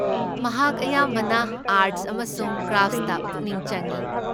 ꯃꯍꯥꯛ ꯑꯌꯥꯝꯕꯅ ꯑꯥꯔꯠꯁ ꯑꯃꯁꯨꯡ ꯀ꯭ꯔꯥꯐꯠꯁꯇ ꯄꯨꯛꯅꯤꯡ ꯆꯪꯢ ꯫